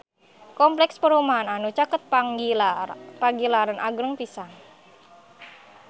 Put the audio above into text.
Kompleks perumahan anu caket Pagilaran agreng pisan